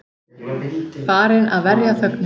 Farin að verja þögnina.